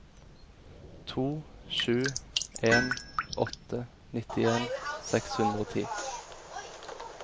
to sju en åtte nittien seks hundre og ti